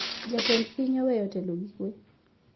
Jatend piny oweyo telo gi kwee